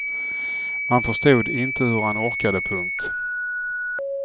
Man förstod inte hur han orkade. punkt